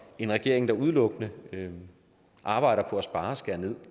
en regering der udelukkende arbejder på at spare og skære ned